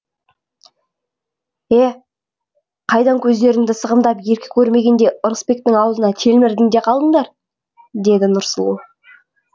е қайдан көздеріңді сығымдап еркек көрмегендей ырысбектің аузына телмірдіңдер де қалдыңдар деді нұрсұлу